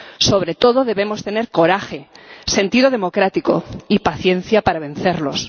Sobre todo debemos tener coraje, sentido democrático y paciencia para vencerlos.